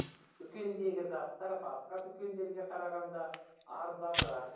дүкендегі заттар басқа дүкендерге қарағанда арзанырақ